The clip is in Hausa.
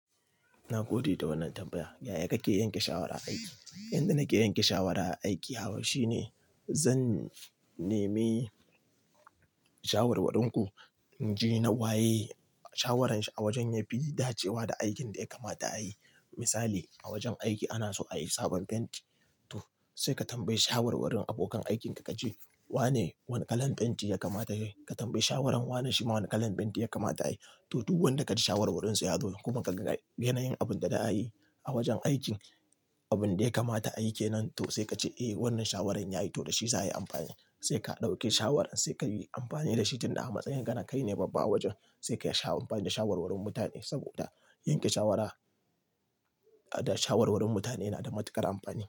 Na gode da wannan tambaya. Yaya kake yanke shawara aiki? Inda nake yanke shawara a aiki, haba shine zan neme shawarwarinku, in je na waye shawaranshi a wajen yafi dacewa da aikin da yakamata a yi. Misali, a wajen aiki ana so a yi sabon fenti, to sai ka tambayi shawarwarin abokan aikinka ka ce "wane wane kalan fenti yakamata a yi?" Ka tambayi shawarar wanashi mane kalan fenti yakamata a yi. To, duk wanda ka ji shawarwarinsa ya zo kuma ka ga yanayin abun da za a yi a wajen aikin, abun da yakamata a yi kenan to sai ka ce "eh wannan shawarar ya yi to da shi za a yi amfani", sai ka ɗauke shawaran sai ka yi amfani da shi tunda a matsayin kana kai ne babba a wajen sai ka sha amfani da shawarwarin mutane. Saboda yanke shawara da shawarwarin mutane yana da matuƙar amfani.